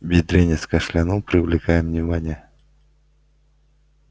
бедренец кашлянул привлекая внимание